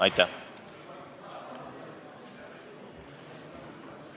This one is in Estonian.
Aitäh!